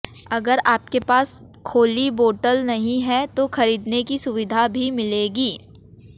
अगर आपके पास खोली बोतल नहीं है तो खरीदने की सुविधा भी मिलेगी